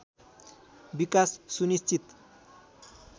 विकास सुनिश्चित